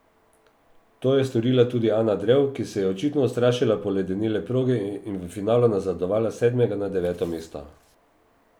To je storila tudi Ana Drev, ki se je očitno ustrašila poledenele proge in v finalu nazadovala s sedmega na deveto mesto.